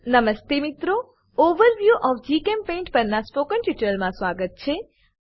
નમસ્તે મિત્રોOverview of GChemPaint પરનાં આ ટ્યુટોરીયલમાં સ્વાગત છે